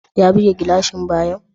Ya buge gilashin bayan?